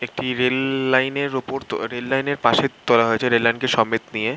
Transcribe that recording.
একটি rail line -এর উপর রেল লাইন পাশ তোলা হয়েছে রেল লাইন এর সমেত নিয়ে।